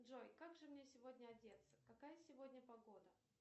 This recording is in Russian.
джой как же мне сегодня одеться какая сегодня погода